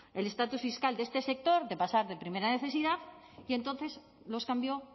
el estatus fiscal de este sector de pasar de primera necesidad y entonces los cambió